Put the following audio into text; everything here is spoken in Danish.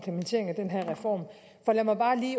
få i